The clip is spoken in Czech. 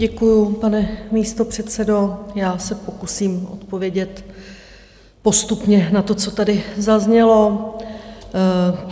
Děkuju, pane místopředsedo, já se pokusím odpovědět postupně na to, co tady zaznělo.